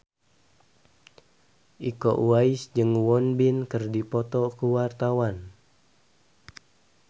Iko Uwais jeung Won Bin keur dipoto ku wartawan